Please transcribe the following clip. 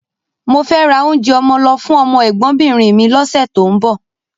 Mo fẹ́ ra oúnjẹ ọmọ lọ fún ọmọ ẹ̀gbọ́nbìnrin mi lọ́sẹ̀ tó ń bọ̀